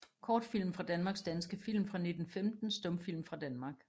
Kortfilm fra Danmark Danske film fra 1915 Stumfilm fra Danmark